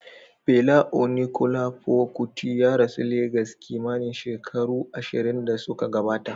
Fela Onikulafo Kuti ya rasu Legas kimanin shekaru ashirin da suka gabata.